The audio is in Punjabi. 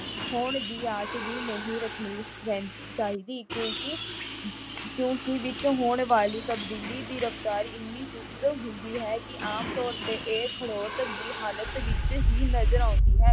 ਹੋਣ ਦੀ ਆਸ ਵੀ ਨਹੀ ਰੱਖਣੀ ਚਾਹੀਦੀ। ਕਿਉਕਿਂ ਕਿਉਕਿਂ ਵਿੱਚ ਹੋਣ ਵਾਲੀ ਤਬਦੀਲੀ ਦੀ ਰਫਤਾਰ ਇੰਨੀ ਸੁਸਤ ਹੁੁੰਦੀ ਹੈ ਕਿ ਆਮ ਤੌਰ ਤੇ ਇਹ ਖੋੜ੍ਹਤ ਦੀ ਹਾਲਾਤ ਵਿੱਚ ਨਜ਼ਰ ਆਉਂਦੀ ਹੈ।